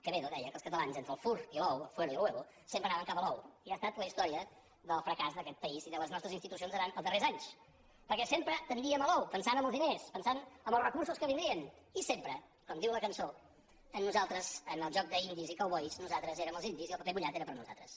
quevedo deia que els catalans entre el fur i l’ou el fuero y el huevol’ou i ha estat la història del fracàs d’aquest país i de les nostres institucions durant els darrers anys perquè sempre tendíem a l’ou pensant en els diners pensant en els recursos que vindrien i sempre com diu la cançó en el joc d’indis i cowboys nosaltres érem els indis i el paper mullat era per a nosaltres